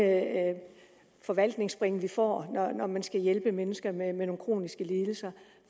forvaltningsspring vi får når man skal hjælpe mennesker med nogle kroniske lidelser